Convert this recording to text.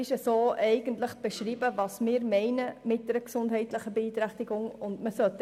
Was wir mit einer gesundheitlichen Beeinträchtigung meinen, ist eigentlich beschrieben.